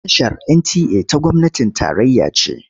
Tashar NTA ta gwamnatin tarayya ce.